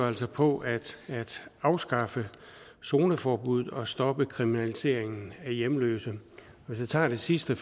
altså på at afskaffe zoneforbuddet og stoppe kriminaliseringen af hjemløse hvis vi tager det sidste